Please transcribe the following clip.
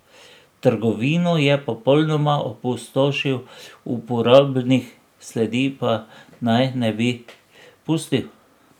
Trgovino je popolnoma opustošil, uporabnih sledi pa naj ne bi pustil.